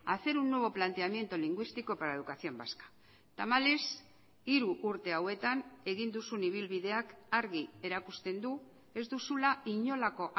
hacer un nuevo planteamiento lingüístico para la educación vasca tamalez hiru urte hauetan egin duzun ibilbideak argi erakusten du ez duzula inolako